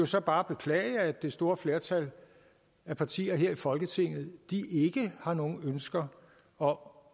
så bare beklage at det store flertal af partier her i folketinget ikke har nogen ønsker om